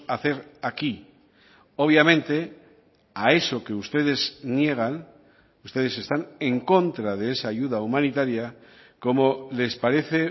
hacer aquí obviamente a eso que ustedes niegan ustedes están en contra de esa ayuda humanitaria como les parece